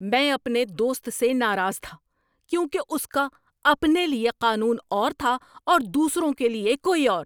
میں اپنے دوست سے ناراض تھا کیونکہ اس کا اپنے لیے قانون اور تھا اور دوسروں کے لیے کوئی اور۔